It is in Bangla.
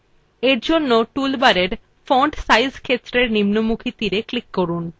এরজন্য toolbar font size ক্ষেত্রের নিম্নমুখী তীরএ click করুন